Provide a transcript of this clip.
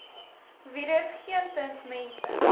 virus geensins mense